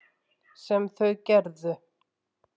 Sem þau gerðu.